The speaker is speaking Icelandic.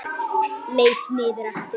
Leit niður aftur.